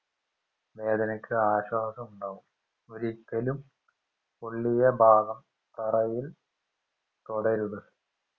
വേദനക്ക് ആശ്വാസം ഉണ്ടാവും ഒരിക്കലും പൊള്ളിയഭാഗം തറയിൽ തൊടരുത്